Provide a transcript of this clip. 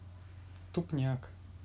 тупняк